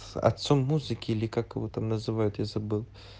с отцом музыки или как его там называют я забыл